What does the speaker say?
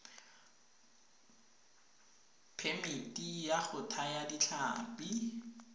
phemiti ya go thaya ditlhapi